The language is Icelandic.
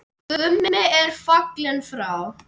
Gummi er fallinn frá.